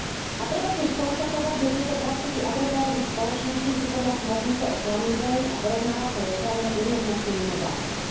A treba tiež skonštatovať, že tieto praktiky adresárových spoločností sú podľa smernice o klamlivej a porovnávacej reklame jednoznačne mimo zákona.